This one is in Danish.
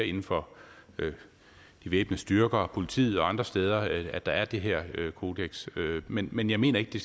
inden for de væbnede styrker politiet og andre steder at der er det her kodeks men men jeg mener ikke